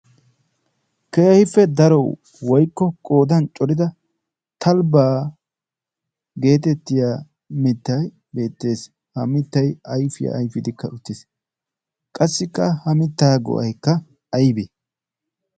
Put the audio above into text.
kehiife daro woikko qoodan corida talibaa geetettiya mittai beettees. ha mittai aifiyaa aifidikka uttees qassikka ha mittaa go7aikka aibe?